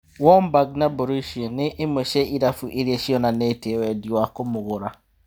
Wumbag na Mborusia nĩ ĩmwe cia irabu iria cionanĩtie wendi wa kũmũgũra.